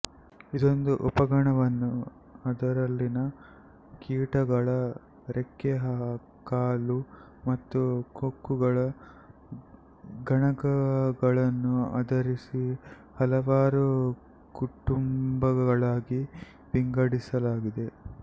ಇದೊಂದು ಉಪಗಣವನ್ನೂ ಅದರಲ್ಲಿನ ಕೀಟಗಳ ರೆಕ್ಕೆ ಕಾಲು ಮತ್ತು ಕೊಕ್ಕುಗಳ ಗಣಗಳನ್ನು ಆಧರಿಸಿ ಹಲವಾರು ಕುಟುಂಬಗಳಾಗಿ ವಿಂಗಡಿಸಲಾಗಿದೆ